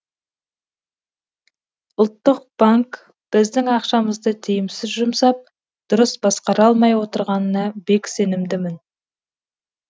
ұлттық банк біздің ақшамызды тиімсіз жұмсап дұрыс басқара алмай отырғанына бек сенімдімін